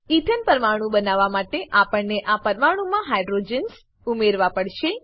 એથને પરમાણુ બનાવવા માટે આપણને આ પરમાણુમાં હાઇડ્રોજન્સ ઉમેરવા પડશે